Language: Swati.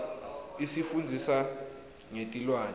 isifundzisa ngetilwane